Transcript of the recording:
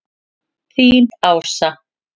Þín, Ása.